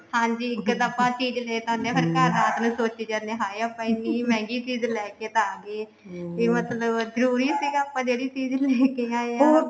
ਹਾਂਜੀ ਇੱਕ ਤਾਂ ਆਪਾਂ ਚੀਜ਼ ਲੈ ਤਾਂ ਆਂਦੇ ਹਾਂ ਪਰ ਘਰ ਰਾਤ ਨੂੰ ਸੋਚੀ ਜਾਂਦੇ ਆ ਵੀ ਹਾਏ ਆਪਾਂ ਇੰਨੀ ਮਹਿੰਗੀ ਚੀਜ਼ ਲੈਕੇ ਤਾਂ ਗਏ ਵੀ ਮਤਲਬ ਜਰੂਰੀ ਸੀਗਾ ਆਪਾਂ ਜਿਹੜੀ ਚੀਜ਼ ਤੁਸੀਂ ਲੈਕੇ ਆਏ ਹਾਂ